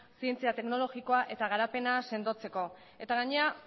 zientzia teknologikoa eta garapena sendotzeko gainera